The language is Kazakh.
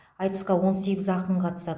айтысқа он сегіз ақын қатысады